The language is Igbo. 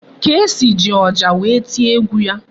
Kcee ji ọjà wee tie egwu ya.